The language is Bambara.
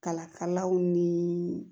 Kala kalaw nii